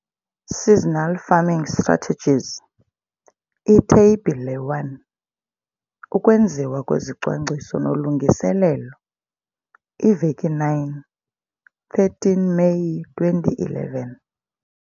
Seasonal farming strategies. Itheyibhile 1- Ukwenziwa kwezicwangciso noLungiselelo- Iveki 9 13 Meyi 2011